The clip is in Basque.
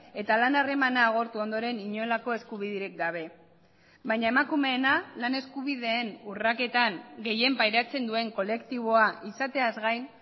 eta lan harremana agortu ondoren inolako eskubiderik gabe baina emakumeena lan eskubideen urraketan gehien pairatzen duen kolektiboa izateaz gain